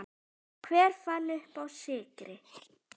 Hver fann uppá sykri?